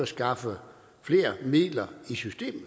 skaffe flere midler i systemet